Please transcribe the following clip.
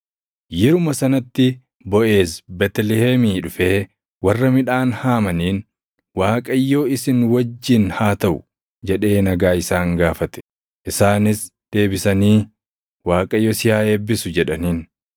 Yeruma sanatti Boʼeez Beetlihemii dhufee warra midhaan haamaniin, “ Waaqayyo isin wajjin haa taʼu!” jedhee nagaa isaan gaafate. Isaanis deebisanii, “ Waaqayyo si haa eebbisu!” jedhaniin.